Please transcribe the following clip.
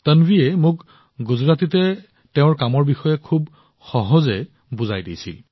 তানভিয়ে মোক গুজৰাটীত তাইৰ কামৰ বিষয়ে খুব সহজভাৱে বৰ্ণনা কৰিছিল